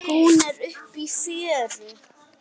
Hún er uppi í fjöru.